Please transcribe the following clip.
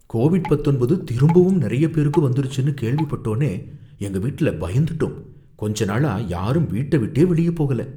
Covid பத்தொன்பது திரும்பவும் நறைய பேருக்கு வந்துருச்சுனு கேள்விபட்டோனோ எங்க வீட்ல பயந்துட்டோம், கொஞ்ச நாளா யாரும் வீட்ட விட்டே வெளிய போகல.